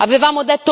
avevamo